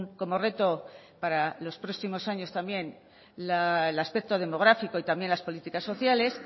como reto para los próximos años también el aspecto demográfico y también las políticas sociales